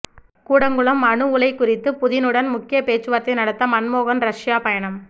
கூடங்குளம் அணு உலை குறித்து புதினுடன் முக்கிய பேச்சுவார்த்தை நடத்த மன்மோகன் ரஷ்யா பயணம்